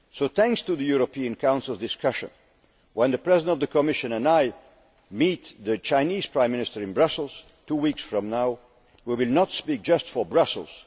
Thanks to the European Council discussion, when the President of the Commission and I meet the Chinese Prime Minister in Brussels two weeks from now, we will not speak just for Brussels'.